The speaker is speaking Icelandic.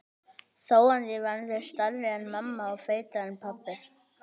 Þó að ég verði stærri en mamma og feitari en pabbi.